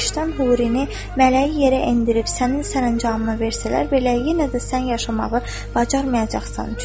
Behiştdən hurini, mələyi yerə endirib sənin sərəncamına versələr belə, yenə də sən yaşamağı bacarmayacaqsan.